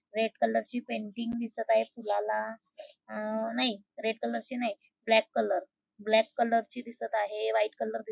red colour ची painting दिसत आहे फुलाला अ नाय रेड कलर ची नाय ब्लॅक कलर ब्लॅक कलर ची दिसत आहे व्हाइट कलर --